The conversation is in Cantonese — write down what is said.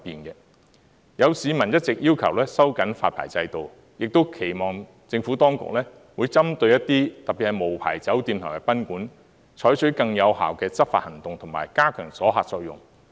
有市民一直要求收緊發牌制度，亦期望政府當局會針對一些處所，特別是無牌酒店及賓館，採取更有效的執法行動及加強阻嚇作用。